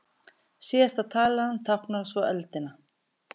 Síðasta talan táknar svo öldina.